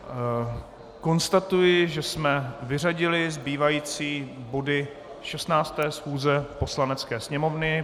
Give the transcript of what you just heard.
Konstatuji, že jsme vyřadili zbývající body 16. schůze Poslanecké sněmovny.